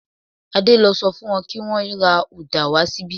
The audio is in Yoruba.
Adé lo so fún won ki wón ra uda wa síbí